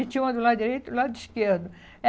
E tinha uma do lado direito e o lado esquerdo.